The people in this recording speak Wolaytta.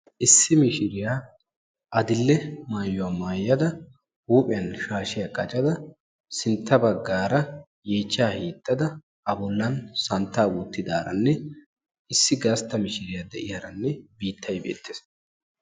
Issi mishshriya adil"e maayuwa maayada huuhphiyan shaashiyaa qaccadda sintta baggaara yeechchaa hiixadda a bollan santta wottidaaranne issi gastta mishshriyaa de'yaranne biittay beettes.